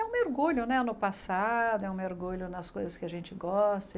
É um mergulho no passado, é um mergulho nas coisas que a gente gosta.